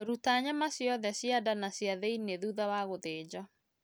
Ruta nyama ciothe cia nda na cia thĩinĩ thutha wa gũthĩnja